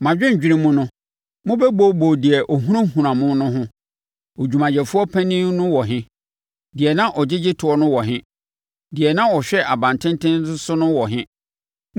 Mo adwendwene mu no, mobɛbooboo deɛ na ɔhunahuna mo no ho: “Odwumayɛfoɔ panin no wɔ he? Deɛ na ɔgyegye toɔ no wɔ he? Deɛ na ɔhwɛ aban tenten so no wɔ he?”